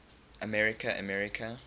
america america